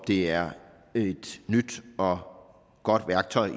det er et nyt og godt værktøj